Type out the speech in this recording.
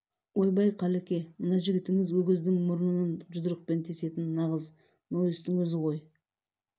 ойбай қалеке мына жігітіңіз өгіздің мұрынын жұдырықпен тесетін нағыз нойыстың өзі ғой